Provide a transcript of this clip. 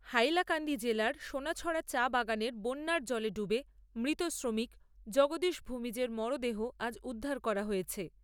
হাইলাকান্দি জেলার সোনাছড়া চা বাগানের বন্যার জলে ডুবে মৃত শ্রমিক জগদীশ ভুমিজের মরদেহ আজ উদ্ধার করা হয়েছে।